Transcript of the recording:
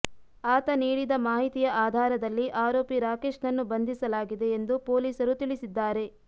ಆತ ನೀಡಿದ ಮಾಹಿತಿಯ ಆಧಾರದಲ್ಲಿ ಆರೋಪಿ ರಾಕೇಶ್ನನ್ನು ಬಂಧಿಸಲಾಗಿದೆ ಎಂದು ಪೊಲೀಸರು ತಿಳಿಸಿದ್ದಾರೆ